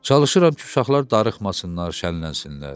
Çalışıram ki, uşaqlar darıxmasınlar, şənlənsinlər.